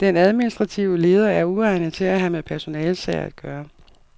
Den administrative leder er uegnet til at have med personalesager at gøre.